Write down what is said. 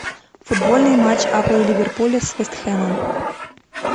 футбольный матч апл ливерпуля с вест хэмом